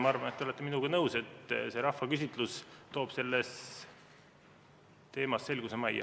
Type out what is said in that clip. Ma arvan, et te olete minuga nõus, et see rahvaküsitlus toob selles teemas selguse majja.